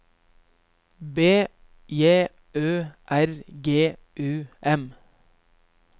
B J Ø R G U M